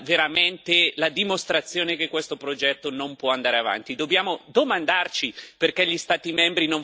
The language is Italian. Credo che questa sia veramente la dimostrazione che questo progetto non può andare avanti.